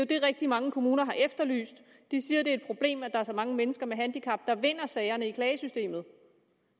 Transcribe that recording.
det rigtig mange kommuner har efterlyst de siger at det er et problem at der er så mange mennesker med handicap der vinder sagerne i klagesystemet